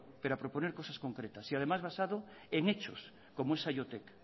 pero a proponer cosas concretas y además basado en hecho como es saiotek